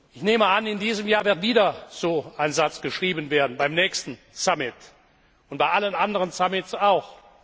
Ich nehme an, in diesem Jahr wird wieder so ein Satz geschrieben werden beim nächsten Gipfel, und bei allen anderen Gipfeln auch.